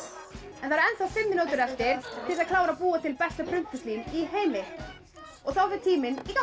en það eru ennþá fimm mínútur eftir til þess að klára að búa til besta prumpuslím í heimi og þá fer tíminn í gang